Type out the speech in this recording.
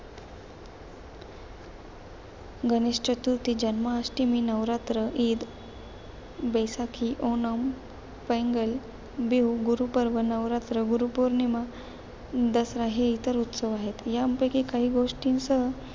गणेश चतुर्थी, जन्माष्टमी, नवरात्र, ईद, बैसाखी, ओणम, पेंगल, बिहू, गुरुपर्व, नवरात्र, गुरु पौर्णिमा, दसरा हे इतर उत्सव आहेत. यांपैकी काही गोष्टींसह,